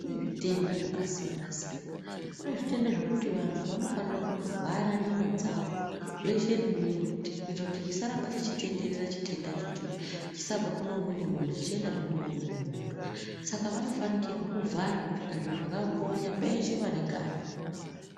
Kune zvitenda zvakasiyana-siyana. Kune zvitenda zvekuti vantu vanofanira kutovhara nyama dzavo, zveshe nemiro kuite kuti chisaramba cheitenderera chitendacho ichocho. Chisabve kune umweni muntu, chichiendazve kune umweni muntu. Saka vanofanikirwe kuvhara kupfeka zviro zvakambonya peshe pane ganda.